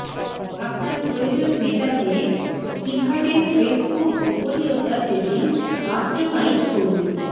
আপনার প্রয়োজন মেটাতে কিভাবে ফেসবুক গোপনীয়তা সেটিংস কাস্টমাইজ করুন